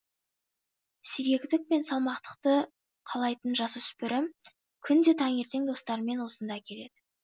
сергектік пен салматтықты қалайтын жасөспірім күнде таңертең достарымен осында келеді